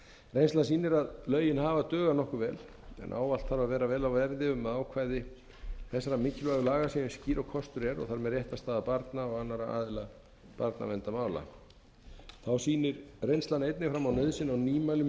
reynslan sýnir að lögin hafa dugað nokkuð vel en ávallt þarf að vera vel á verði um ákvæði þessara mikilvægu séu eins skýr og kostur er og þar með réttarstaða barna og annarra aðila barnaverndarmála þá sýnir reynslan einnig fram á nauðsyn á nýmælum í